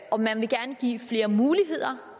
og man vil gerne give flere muligheder